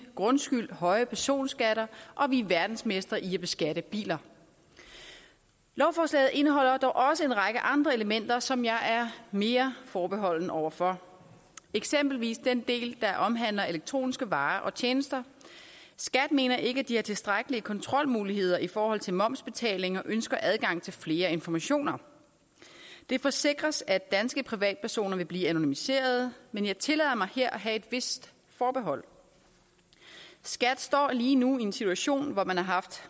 grundskyld høje personskatter og vi er verdensmestre i at beskatte biler lovforslaget indeholder dog også en række andre elementer som jeg er mere forbeholden over for eksempelvis den del der omhandler elektroniske varer og tjenester skat mener ikke at de har tilstrækkelige kontrolmuligheder i forhold til momsbetaling og ønsker adgang til flere informationer det forsikres at danske privatpersoner vil blive anonymiseret men jeg tillader mig her at have et vist forbehold skat står lige nu i en situation hvor man har haft